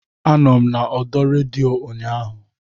Anọ m n'ọdọ redio ụnyaahụ